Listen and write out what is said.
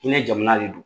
Hinɛ jamana de don